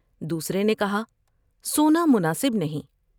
دوسرے نے کہا '' سونا مناسب نہیں ۔